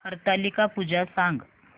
हरतालिका पूजा सांग